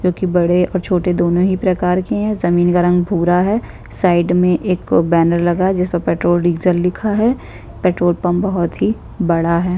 जो कि बड़े और छोटे दोनों ही प्रकार के है जमीन का रंग भूरा है साइड में एक बैनर लगा है जिस पर पेट्रोल डीज़ल लिखा है पेट्रोल पंप बहुत ही बड़ा है।